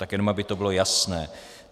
Tak jenom aby to bylo jasné.